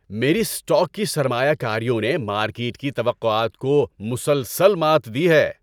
میری اسٹاک کی سرمایہ کاریوں نے مارکیٹ کی توقعات کو مسلسل مات دی ہے۔